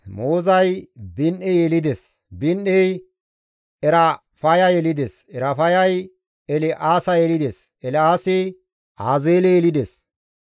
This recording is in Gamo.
Moozay Bini7e yelides; Bini7ey Erafaya yelides; Erafayay El7aasa yelides; El7aasi Azeele yelides.